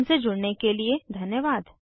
हमसे जुड़ने के लिए धन्यवाद